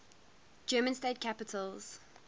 german state capitals